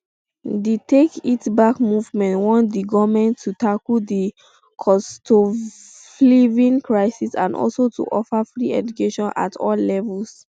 di take it back movement want di goment to tackle di costofliving crisis and also to offer free education at all levels